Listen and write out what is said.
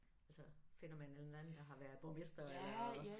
Altså finder man en eller anden der har været borgmester eller